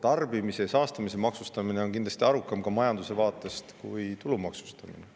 Tarbimise ja saastamise maksustamine on majanduse vaatest kindlasti arukam kui tulu maksustamine.